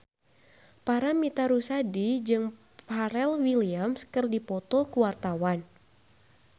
Paramitha Rusady jeung Pharrell Williams keur dipoto ku wartawan